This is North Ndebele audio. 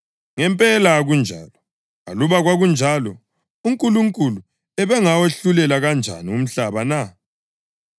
Ngempela akunjalo. Aluba kwakunjalo, uNkulunkulu ubengawahlulela kanjani umhlaba na?